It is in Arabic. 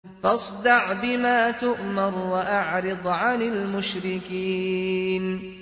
فَاصْدَعْ بِمَا تُؤْمَرُ وَأَعْرِضْ عَنِ الْمُشْرِكِينَ